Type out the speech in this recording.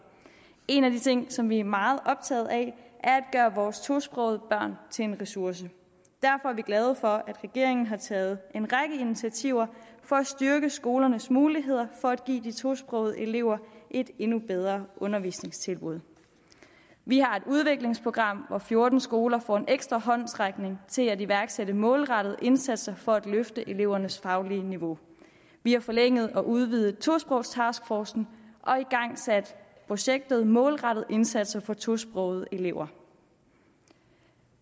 en af de ting som vi er meget optaget af er at gøre vores tosprogede børn til en ressource derfor er vi glade for at regeringen har taget en række initiativer for at styrke skolernes muligheder for at give de tosprogede elever et endnu bedre undervisningstilbud vi har et udviklingsprogram hvor fjorten skoler får en ekstra håndsrækning til at iværksætte målrettede indsatser for at løfte elevernes faglige niveau vi har forlænget og udvidet tosprogstaskforcen og igangsat projektet målrettede indsatser for tosprogede elever